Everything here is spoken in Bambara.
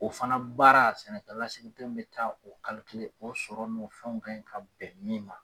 O fana baara sɛnɛkɛlalasidenw bɛ taa o o sɔrɔ n'o fɛn kan ka bɛn min ma.